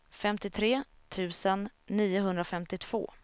femtiotre tusen niohundrafemtiotvå